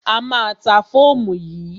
A má a ta fóòmù yìí.